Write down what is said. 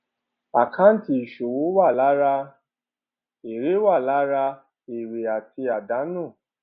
àkáǹtì ìṣòwò wà lára èrè wà lára èrè àti àdánù